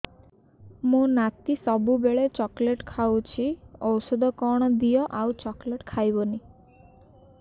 ମୋ ନାତି ସବୁବେଳେ ଚକଲେଟ ଖାଉଛି ଔଷଧ କଣ ଦିଅ ଆଉ ଚକଲେଟ ଖାଇବନି